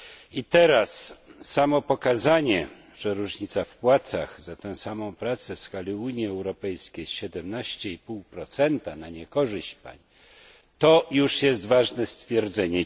I teraz samo pokazanie, że różnica w płacach za tę samą pracę w skali Unii Europejskiej wynosi 17,5 na niekorzyść pań, to już jest ważne stwierdzenie.